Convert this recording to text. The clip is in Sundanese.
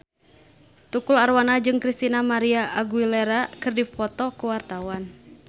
Tukul Arwana jeung Christina María Aguilera keur dipoto ku wartawan